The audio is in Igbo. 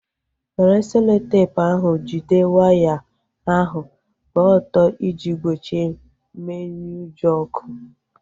Were seloteepu ahu jide waya ahu gbaa ọtọ iji gbochie mmenyeujọ ọkụ